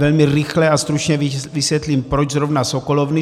Velmi rychle a stručně vysvětlím, proč zrovna sokolovny.